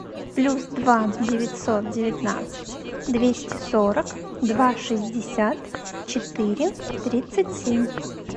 плюс два девятьсот девятнадцать двести сорок два шестьдесят четыре тридцать семь